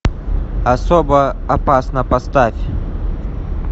особо опасна поставь